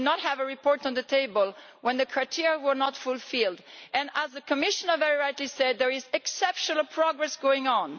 We did not have a report on the table when the criteria were not fulfilled, and as the Commissioner very rightly said, there is exceptional progress going on.